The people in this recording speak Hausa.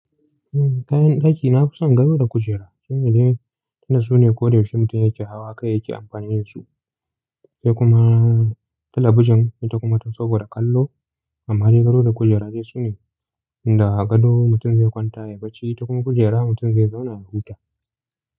Kayan ɗaki na fi son gado da kujera shine dai tunda sune ko da yaushe mutum ya ke hawa kai yake amfani da su. Sai kuma talabijin ita kuma to saboda kallo. Amma dai gado da kujera dai su ne, tunda gado mutum zai kwanta ya bacci ita kuma kujera mutum zai zauna ya huta.